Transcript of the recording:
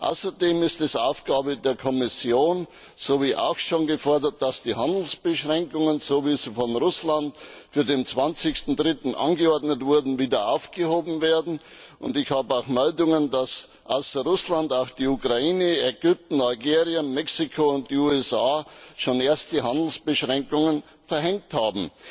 Außerdem ist es Aufgabe der Kommission, so wie auch schon gefordert, dass die Handelsbeschränkungen, so wie sie von Russland für den 20.3. angeordnet wurden, wieder aufgehoben werden. Ich habe Meldungen, dass außer Russland auch die Ukraine, Ägypten, Algerien, Mexiko und die USA schon erste Handelsbeschränkungen verhängt haben.